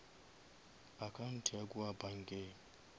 account ya kua bankeng